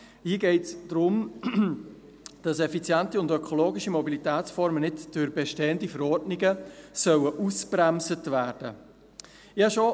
Hier geht es darum, dass effiziente und ökologische Mobilitätsformen nicht durch bestehende Verordnungen ausgebremst werden sollen.